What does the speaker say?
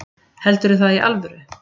Heldurðu það í alvöru?